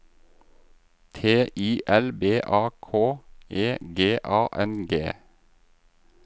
T I L B A K E G A N G